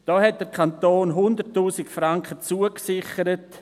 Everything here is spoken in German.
Dort hat der Kanton 100’000 Franken zugesichert.